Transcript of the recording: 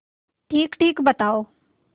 ठीकठीक बताओ